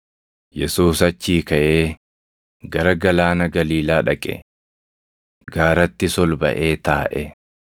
Yesuus achii kaʼee gara Galaana Galiilaa dhaqe. Gaarattis ol baʼee taaʼe.